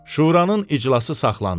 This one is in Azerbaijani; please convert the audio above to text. Şuranın iclası saxlandı.